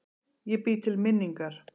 Ég bý til minningar.